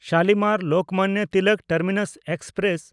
Shalimar-Lokmanya Tilak terminus express